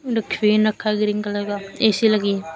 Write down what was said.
डखविन रखा green colour का A C लगी--